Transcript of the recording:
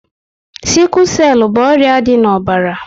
Siku selu bụ ọrịa dị na ọbara